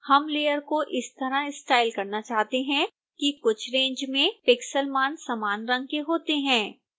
हम layer को इस तरह स्टाइल करना चाहते हैं कि कुछ रैंज में pixel मान समान रंग के होते हैं